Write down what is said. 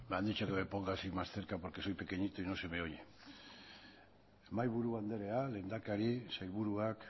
han dicho que me ponga así más cerca porque soy pequeñito y no se me oye mahaiburu andrea lehendakari sailburuak